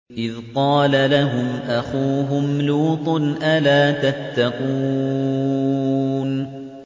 إِذْ قَالَ لَهُمْ أَخُوهُمْ لُوطٌ أَلَا تَتَّقُونَ